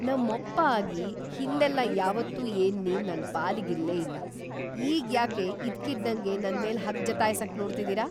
ನಮ್ಮಪ್ಪ ಆಗಿ ಹಿಂದೆಲ್ಲ ಯಾವತ್ತೂ ಏನ್‌ ನೀವ್‌ ನನ್ ಪಾಲಿಗಿರ್ಲೇ ಇಲ್ಲ. ಈಗ್ಯಾಕ್ ಇದ್ಕಿದ್ದಂಗೆ ನನ್ಮೇಲ್‌ ಹಕ್ಕ್‌ ಜತಾಯ್ಸಕ್‌ ನೋಡ್ತಿದೀರ?!